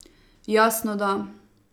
Jasno, da.